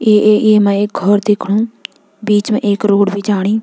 ए ए एमा एक घौर दिखणु बीच मा एक रोड भी जाणी।